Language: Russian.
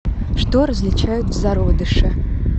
что различают в зародыше